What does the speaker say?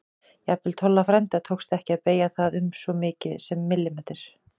Jafnvel Tolla frænda tókst ekki að beygja það um svo mikið sem millimeter.